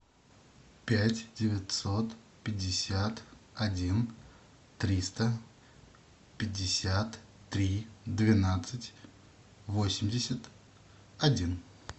пять девятьсот пятьдесят один триста пятьдесят три двенадцать восемьдесят один